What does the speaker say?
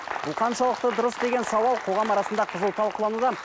бұл қаншалықты дұрыс деген сауал қоғам арасында қызу талқылануда